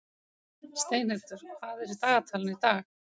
Steinhildur, hvað er í dagatalinu í dag?